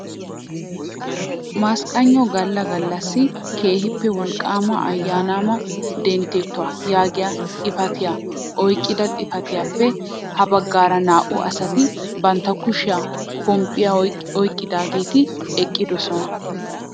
Masqqaygno galla gallasi keehippe wolqqaama ayyaanama denttettuwaa yaagiyaa xifatiyaa oyqqida xifatiyaappe ha baggaara naa"u asati bantta kushiyaan pomppaa oyqqidaageti eqqidosona.